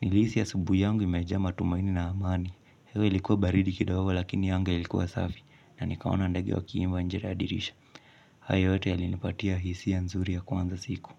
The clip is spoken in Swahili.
Nilihisi ya asubuhu yangu imejaa matumaini na amani. Hewa ilikuwa baridi kidogo lakini anga ilikuwa safi na nikaona ndege wekiimba nje na dirisha. Hayo yote yalinipatia hisia ya nzuri ya kuanza siku.